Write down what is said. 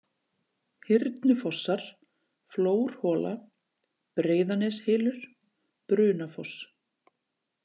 Hyrnufossar, Flórhola, Breiðaneshylur, Brunafoss